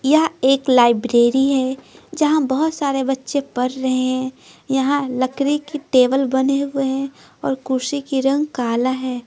यह एक लाइब्रेरी है जहां बहुत सारे बच्चे पढ़ रहे हैं यहां लकड़ी की टेबल बन रही है और कुर्सी की रंग काला है।